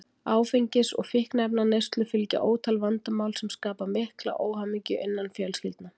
Áfengis- og fíkniefnaneyslu fylgja ótal vandamál sem skapa mikla óhamingju innan fjölskyldna.